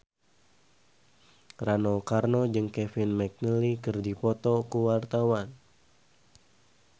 Rano Karno jeung Kevin McNally keur dipoto ku wartawan